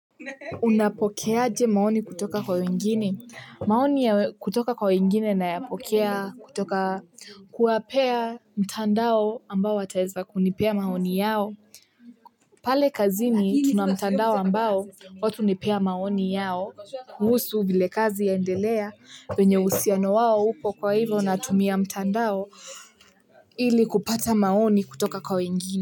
Unapokeaje maoni kutoka kwa wengine? Maoni ya kutoka kwa wengine naya pokea kutoka kuwapea mtandao ambao wataeza kunipea maoni yao. Pale kazini tuna mtandao ambao, watu hunipea maoni yao, kuhusu vile kazi yaendelea, venye uhusiano wao upo kwa hivo natumia mtandao ili kupata maoni kutoka kwa wengine.